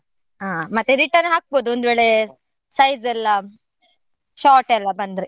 ಹಾ ಮತ್ತೆ return ಹಾಕ್ಬೋದು ಒಂದು ವೇಳೆ size ಎಲ್ಲ short ಎಲ್ಲ ಬಂದ್ರೆ.